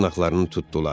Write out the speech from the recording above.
Dırnaqlarını tutdular.